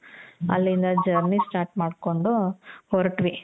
ಅಲ್ಲಿಂದ journey start ಮಾಡ್ಕೊಂಡು ಹೊರಟ್ವಿ